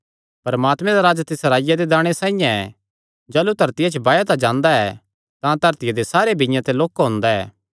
परमात्मे दा राज तिस राईया दे दाणे साइआं ऐ जाह़लू धरतिया च बाया जांदा ऐ तां धरतिया दे सारे बीआं ते लोक्का हुंदा ऐ